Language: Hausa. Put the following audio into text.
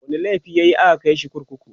wani laifi yayi a ka Kai shi kurkuku?